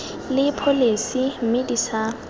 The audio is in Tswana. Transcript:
le pholesi mme di sa